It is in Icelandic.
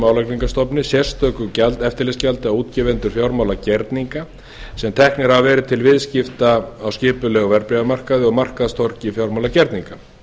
álagningarstofni sérstöku eftirlitsgjaldi á gefur fjármálagerninga sem teknir eru af til viðskipta á skipulegum verðbréfamarkaði og markaðstorgi fjármálagerninga